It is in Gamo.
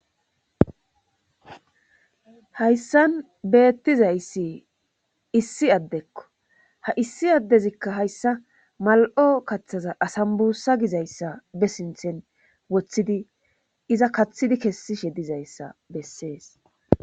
Hayssan beettizayssi issi addekko ha issi addezikahayssa mal7o kathaza asambbussa gizayssa be sinthan wothidi iza kathishe dizayssa bessees